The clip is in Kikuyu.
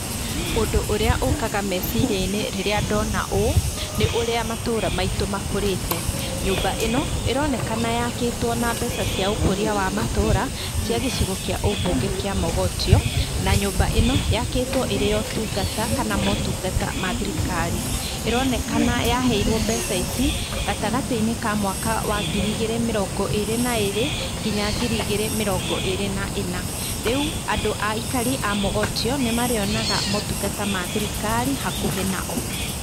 Ũndũ ũrĩa ũkaga meciria-inĩ rĩrĩa ndona ũũ, nĩ ũrĩa matũũra maitũ makũrĩte. Nyũmba ĩno ĩronekana yakĩtwo na mbeca cia ũkũria wa matũũra cia gĩcigo kĩa ũbunge kĩa Mogotio na nyũmba ĩno yakĩtwo ĩrĩ ya ũtungata kana motungata mathirikari. ĩronekana ya heirwo mbeca ici gatagatĩ-inĩ ka mwaka wa ngiri igĩrĩ mĩrongo ĩrĩ na ĩrĩ nginya ngiri igĩrĩ mĩrongo ĩrĩ na ĩna. Rĩu andũ aikari a Mogotio nĩ marĩonaga motungata ma thirikari hakuhĩ na o.